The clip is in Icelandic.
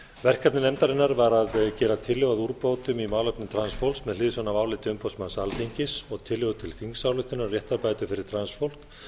verkefni nefndarinnar var að gera tillögu að úrbótum í málefnum transfólks með hliðsjón af áliti umboðsmanns alþingis og tillögu til þingsályktunar um réttarbætur fyrir transfólk